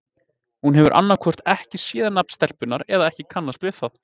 Hún hefur annað hvort ekki séð nafn stelpunnar eða ekki kannast við það.